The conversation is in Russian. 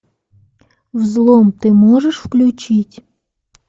взлом ты можешь включить